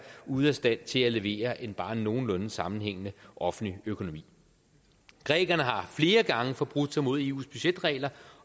ude af stand til at levere en bare nogenlunde sammenhængende offentlig økonomi grækerne har flere gange forbrudt sig mod eus budgetregler